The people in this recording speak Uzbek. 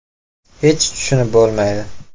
Hech tushunib bo‘lmaydi!